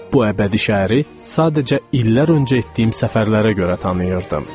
Bu əbədi şəhəri sadəcə illər öncə etdiyim səfərlərə görə tanıyırdım.